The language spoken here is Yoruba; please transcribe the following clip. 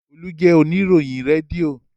Olú jẹ oníròyìn rédíò.